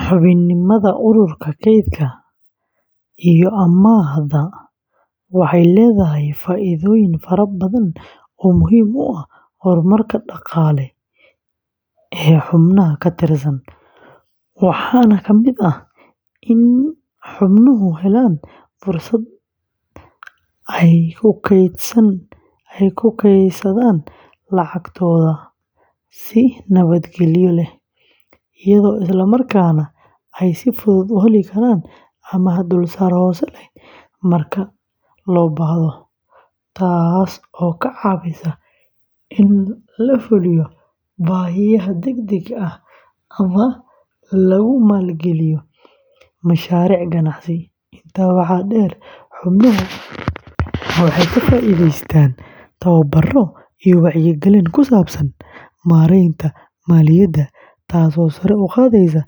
Xubinimada ururka kaydka iyo amaahda, waxay leedahay faa’iidooyin fara badan oo muhiim u ah horumarka dhaqaale ee xubnaha ka tirsan, waxaana ka mid ah in xubnuhu helaan fursad ay kaydsadaan lacagtooda si nabadgelyo leh, iyadoo isla markaana ay si fudud u heli karaan amaah dulsaar hoose leh marka loo baahdo, taas oo ka caawisa in la fuliyo baahiyaha degdega ah ama lagu maalgeliyo mashaariic ganacsi; intaa waxaa dheer, xubnuhu waxay ka faa’iidaystaan tababaro iyo wacyigelin ku saabsan maaraynta maaliyadda, taasoo sare u qaadaysa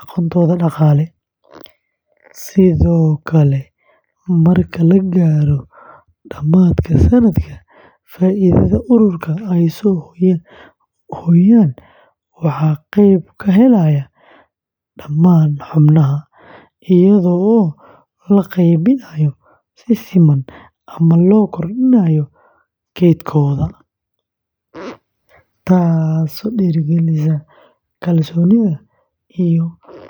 aqoontooda dhaqaale; sidoo kale, marka la gaaro dhammaadka sannadka, faa’iidada ururka ay soo hooyaan waxaa qayb ka helaya dhammaan xubnaha, iyadoo loo qaybinayo si siman ama loo kordhinayo kaydkooda, taasoo dhiirrigelisa kalsoonida iyo ka-qaybgalka firfircoon.